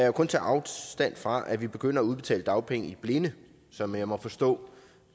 jo kun tage afstand fra at vi begynder at udbetale dagpenge i blinde som jeg må forstå